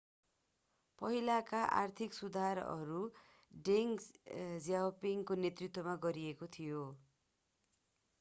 पहिलेका आर्थिक सुधारहरू deng xiaoping को नेतृत्वमा गरिएको थियो